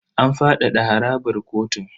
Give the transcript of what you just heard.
An fadada harabar kotun.